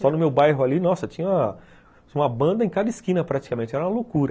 Só no meu bairro ali, nossa, tinha uma banda em cada esquina praticamente, era uma loucura.